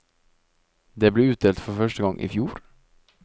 Det ble utdelt for første gang i fjor.